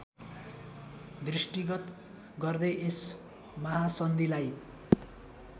दृष्टिगत गर्दै यस महासन्धिलाई